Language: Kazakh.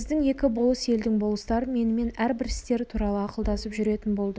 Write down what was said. біздің екі болыс елдің болыстары менімен әрбір істер туралы ақылдасып жүретін болды